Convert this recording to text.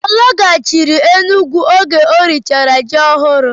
Ọ laghachiri Enugwu oge e richara ji ọhụrụ?